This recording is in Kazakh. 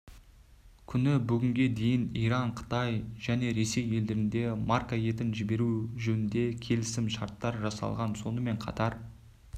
күні бүгінге дейін иран қытай және ресей елдеріне марқа етін жіберу жөнінде келісімшарттар жасалған сонымен қатар